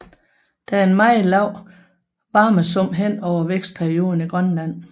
Der er en meget lav varmesum hen over vækstperioden i Grønland